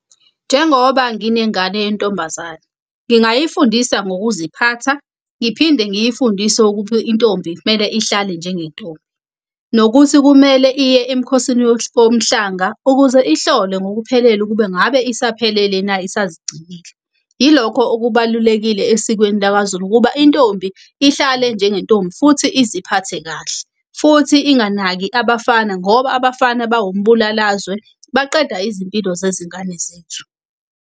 Njengoba nginengane yentombazane ngingayifundisa ngokuziphatha, ngiphinde ngiyifundise ukuphi intombi kumele ihlale njengentombi. Nokuthi kumele iye emkhosini womhlanga ukuze ihlolwe ngokuphelele ukube ngabe isaphelele na, isazigcinile. Ilokho okubalulekile esikweni lakaZulu ukuba intombi ihlale njengentombi futhi iziphathe kahle. Futhi inganaki abafana ngoba abafana bawombulalazwe baqeda izimpilo zezingane zethu.